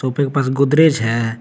के पास गोदरेज है।